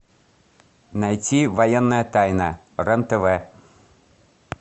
найти военная тайна рен тв